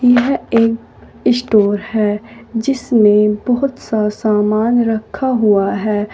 यह एक स्टोर है जिसमे बहुत सा सामान रखा हुआ है।